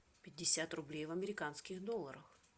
пятьдесят рублей в американских долларах